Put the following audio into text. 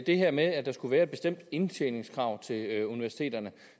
det her med at der skulle være et bestemt indtjeningskrav til universiteterne